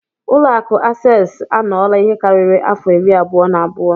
Ụlọ akụ access anọla ihe karịrị afọ irí abụo na abụọ.